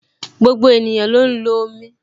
Gbogbo ènìyàn ló ń lo omi